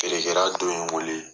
Feere kɛla dɔ ye n wele.